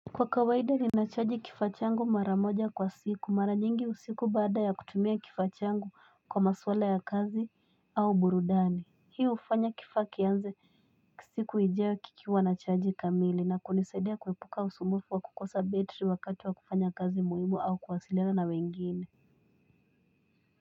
Kwa kawaida ninachaji kifaa changu mara moja kwa siku. Mara nyingi usiku baada ya kutumia kifaa changu kwa maswala ya kazi au burudani. Hii hufanya kifaa kianze siku ijayo kikiwa na chaji kamili na kunisaidia kuepuka usumbufu wa kukosa betri wakati wa kufanya kazi muhimu au kuwasiliana na wengine.